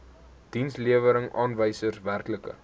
dienslewerings aanwysers werklike